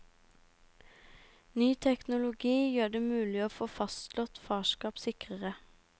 Ny teknologi gjør det mulig å få fastslått farskap sikrere.